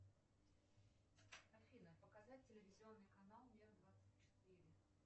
афина показать телевизионный канал мир двадцать четыре